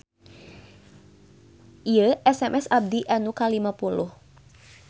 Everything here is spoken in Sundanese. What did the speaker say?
Ieu SMS abdi nu kalima puluh